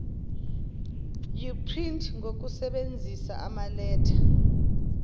uprinte ngokusebenzisa amaletha